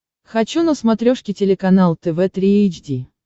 хочу на смотрешке телеканал тв три эйч ди